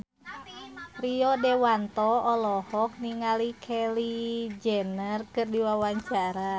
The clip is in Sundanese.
Rio Dewanto olohok ningali Kylie Jenner keur diwawancara